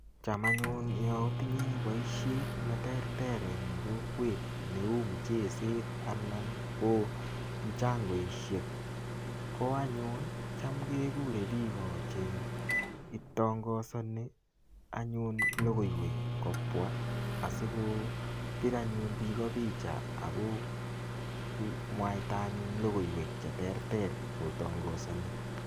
Cham anyun yo atinye boisiet neterter eng kokwet neu mcheset anan ko mchangoisiek, ko anyun cham kegure biiko che itangasoni anyun logoiwet kobwa asigopir anyun biiko picha ago mwaitai anyun logoiwek che terter kotangasani.